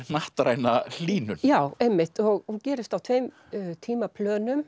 hnattræna hlýnun já einmitt og hún gerist á tveim